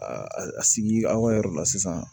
A sigi aw ka yɔrɔ la sisan